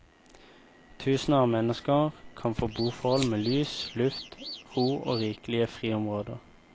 Tusener av mennesker kan få boforhold med lys, luft, ro og rikelige friområder.